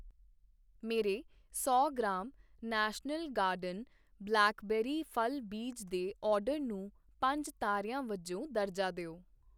ਮੇਰੇ ਸੌ gram national garden blackberry ਫ਼ਲ ਬੀਜ ਦੇ ਆਰਡਰ ਨੂੰ ਪੰਜ ਤਾਰਿਆਂ ਵਜੋਂ ਦਰਜਾ ਦਿਓ